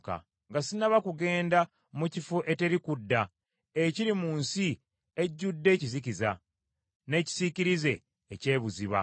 nga sinnaba kugenda mu kifo eteri kudda, ekiri mu nsi ejjudde ekizikiza, n’ekisiikirize eky’ebuziba,